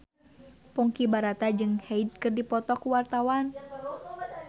Ponky Brata jeung Hyde keur dipoto ku wartawan